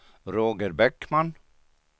Roger Bäckman